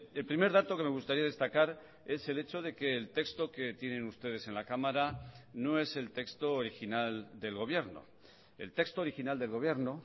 el primer dato que me gustaría destacar es el hecho de que el texto que tienen ustedes en la cámara no es el texto original del gobierno el texto original del gobierno